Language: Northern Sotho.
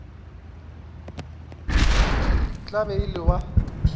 tla be o le wa